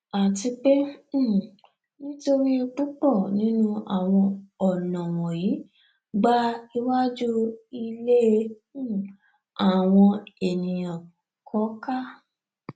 àti pé um nítorí púpọ nínú awọn ọnà wọnyí gba iwajú ilé um àwọn ènìà kọká